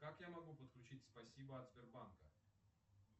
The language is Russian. как я могу подключить спасибо от сбербанка